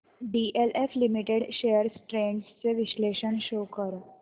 DLF limited shares trends चे विश्लेषण show कर